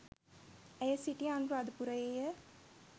ඇය සිටියේ අනුරාධපුරයේය